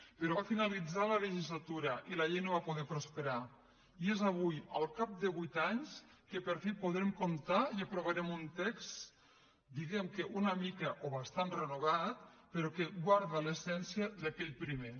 però va finalitzar la legislatura i la llei no va poder prosperar i és avui al cap de vuit anys que per fi podrem comptar i aprovarem un text diguemne que una mica o bastant renovat però que guarda l’essència d’aquell primer